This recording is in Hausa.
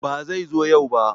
Ba zai zo yau ba